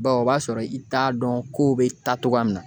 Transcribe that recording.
Bawo o b'a sɔrɔ i t'a dɔn kow bɛ taa cogoya min na